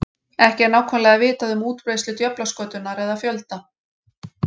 Ekki er nákvæmlega vitað um útbreiðslu djöflaskötunnar eða fjölda.